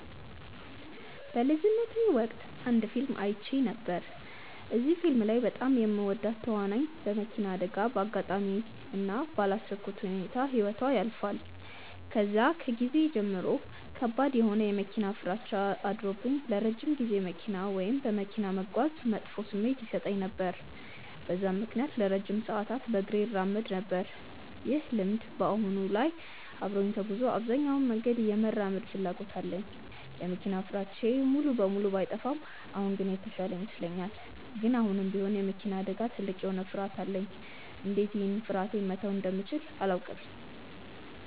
በልጅነቴ ወቅት አንድ ፊልም አይቼ ነበር። እዚህ ፊልም ላይ በጣም የምወዳት ተዋናይ በመኪና አደጋ በአጋጣሚ እና ባላሰብኩት ሁኔታ ህይወቷ ያልፋል። ከዛን ጊዜ ጀምሮ ከባድ የሆነ የመኪና ፍራቻ አድሮብኝ ለረጅም ጊዜ መኪና ወይም በመኪና መጓዝ መጥፎ ስሜት ይሰጠኝ ነበር። በዛም ምክንያት ለረጅም ሰዓታት በእግሬ እራመድ ነበር። ይህ ልምድ በአሁን ላይ አብሮኝ ተጉዞ አብዛኛውን መንገድ የመራመድ ፍላጎት አለኝ። የመኪና ፍራቻዬ ሙሉ በሙሉ ባይጠፋም አሁን ግን የተሻለ ይመስለኛል። ግን አሁንም ቢሆን የመኪና አደጋ ትልቅ የሆነ ፍርሀት አለኝ። እንዴት ይህን ፍርሀቴ መተው እንደምችል አላውቅም።